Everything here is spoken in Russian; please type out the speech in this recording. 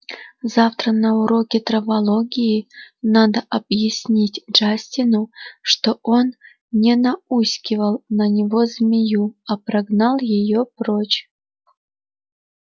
завтра на уроке травологии надо объяснить джастину что он не науськивал на него змею а прогнал её прочь